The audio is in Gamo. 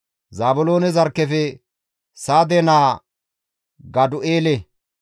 Zaabiloone zarkkefe Sade naa Gadu7eele;